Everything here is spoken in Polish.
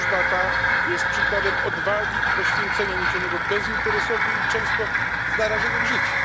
Służba ta jest przykładem odwagi i poświęcenia niesionego bezinteresownie i często z narażeniem życia.